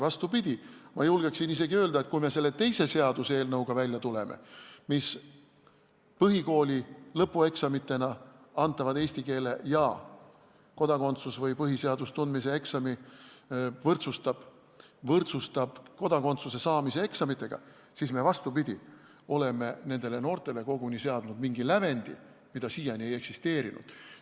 Vastupidi, ma julgeksin isegi öelda, et kui me tuleme välja selle teise seaduseelnõuga, mis põhikooli lõpueksamitena tehtavad eesti keele ja kodakondsuseksami või põhiseaduse tundmise eksami võrdsustab kodakondsuse saamise eksamitega, siis me, vastupidi, oleme nendele noortele seadnud koguni mingi lävendi, mida siiani ei eksisteerinud.